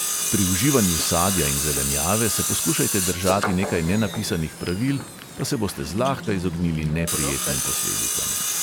Pri uživanju sadja in zelenjave se poskušajte držati nekaj nenapisanih pravil, pa se boste zlahka izognili neprijetnim posledicam.